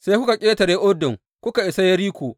Sai kuka ƙetare Urdun kuka isa Yeriko.